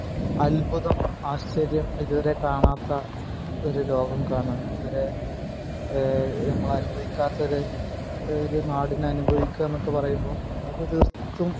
അത്ഭുതം ആശ്ചര്യം ഇതുവരെ കാണാത്ത ഒരു ലോകം കാണെ ഏഹ് നമ്മൾ അനുഭവിക്കാത്ത ഒരു ഒരു നാടിനെ അനുഭവിക്ക എന്നൊക്ക പറയുമ്പോ അത് തീർത്തും